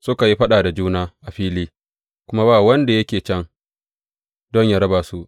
Suka yi faɗa da juna a fili, kuma ba wanda yake can don yă raba su.